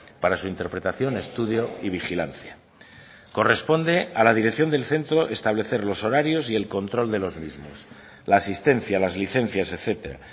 para su interpretación estudio y vigilancia corresponde a la dirección del centro establecer los horarios y el control de los mismos la asistencia las licencias etcétera